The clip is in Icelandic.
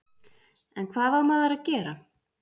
En hvað á maður að gera?